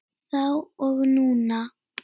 Þá og núna.